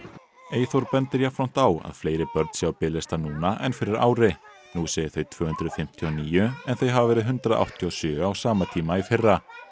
Eyþór bendir jafnframt á að fleiri börn séu á biðlista núna en fyrir ári nú séu þau tvö hundruð fimmtíu og níu en þau hafi verið hundrað áttatíu og sjö á sama tíma í fyrra